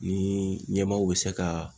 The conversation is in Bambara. Ni ɲɛmaaw bi se ka